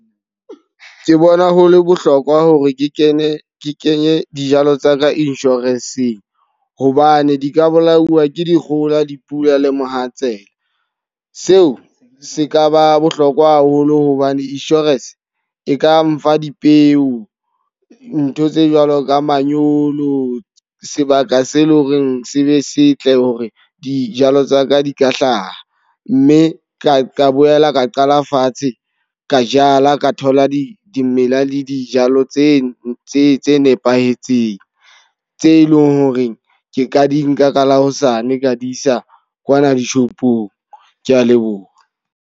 Ke bona ho le bohlokwa hore ke kene ke kenye dijalo tsa ka insurance-ng hobane di ka bolawa ke dikgohola, dipula le mohatsela. Seo se ka ba bohlokwa haholo hobane insurance e ka mfa dipeo. Ntho tse jwalo ka manyolo, sebaka se leng hore se be setle hore dijalo tsa ka di ka hlaha. Mme ka boela ka qala fatshe ka jala, ka thola di dimela le dijalo tse nepahetseng. Tse leng hore ke ka di nka ka la hosane ka di isa kwana dishopong. Ke a leboha.